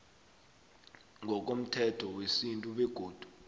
ngokomthetho wesintu begodu